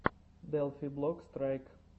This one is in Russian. делфи блок страйк